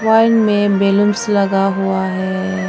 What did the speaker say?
में बैलून लगा हुआ है।